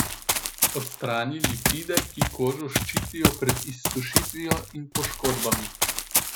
Odstrani lipide, ki kožo ščitijo pred izsušitvijo in poškodbami.